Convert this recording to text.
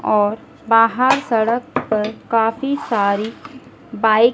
और बाहर सड़क पर काफी सारी बाइक --